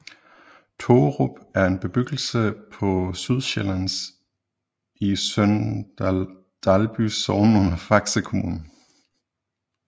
Tågerup er en bebyggelse på Sydsjælland i Sønder Dalby Sogn under Faxe Kommune